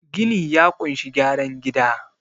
gini ya kunshi gyaran gida